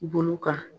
Bolo kan